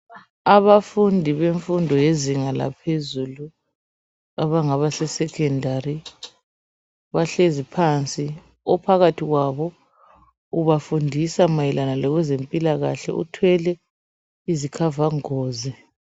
Abafundi bemfundo bezinga laphezulu, abangaba sekhendali, bahlezi phansi, phakathi kwabo ubafundisa mayelana ngemphikahle, uthwele izikhavangozi.